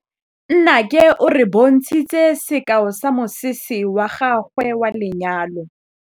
Nnake o re bontshitse sekaô sa mosese wa gagwe wa lenyalo.